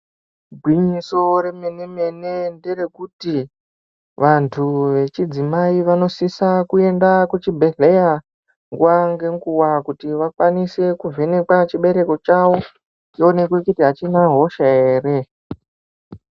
Gwinyiso remenemene nderekuti vanthu vechidzimai vanosise kuende kuchibhedhlera nguwa ngeguwa kuti vakwanise kuvhenekwa chibereko chavo chionekwe kuti achina hosha ere .